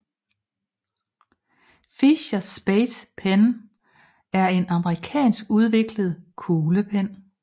Fisher Space Pen er en amerikanskudviklet kuglepen